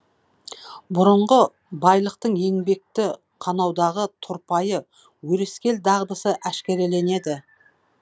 бұрынғы байлықтың еңбекті қанаудағы тұрпайы өрескел дағдысы әшкереленеді